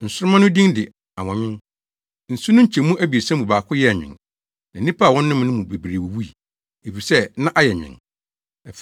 Nsoromma no din de “Anwɔnwen.” Nsu no nkyɛmu abiɛsa mu baako yɛɛ nwen, na nnipa a wɔnomee no mu bebree wuwui, efisɛ na ayɛ nwen.